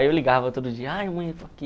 Aí eu ligava todo dia, ai mãe